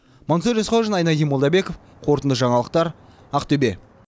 мансұр есқожин айнадин молдабеков қорытынды жаңалықтар ақтөбе